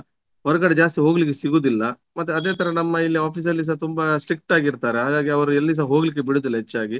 ಹೊರಗಡೆ ಜಾಸ್ತಿ ಹೋಗ್ಲಿಕ್ಕೆ ಸಿಗುದಿಲ್ಲ ಮತ್ತೆ ಅದೇ ತರ ನಮ್ಮ ಇಲ್ಲಿ office ಅಲ್ಲಿಸ ತುಂಬಾ strict ಆಗಿರ್ತಾರೆ ಹಾಗಾಗಿ ಅವರು ಎಲ್ಲಿಸ ಹೋಗ್ಲಿಕ್ಕೆ ಬಿಡುವುದಿಲ್ಲ ಹೆಚ್ಚಾಗಿ